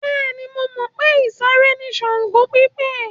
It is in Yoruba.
Bẹ́ẹ̀ni, mo mọ̀ pé ìsàré ni Ṣàngó pípè.